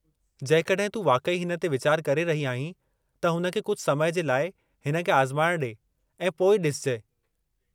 जेकड॒हिं तूं वाक़ई हिन ते वीचारु करे रही आहीं त हुन खे कुझु समय जे लाइ हिन खे आज़माइणु ॾे ऐं पोइ ॾिसजि।